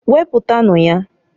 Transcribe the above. Wepụtanu ya.